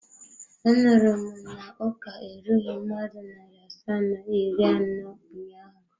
Anuru m na uka erughi mmadụ nari asaa na iri ano ụnyaahụ?